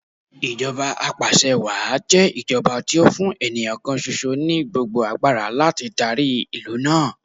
Ìjọba apàṣẹwàá jẹ́ ìjọba tí ó fún ènìyàn kan ṣoṣo ní gbogbo agbára láti darí ìlú náà.